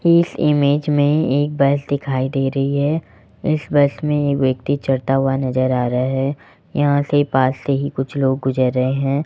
इस इमेज में एक बस दिखाई दे रही है इस बस में एक व्यक्ति चढ़ता हुआ नजर आ रहा है यहां से पास से ही कुछ लोग गुजर रहे हैं।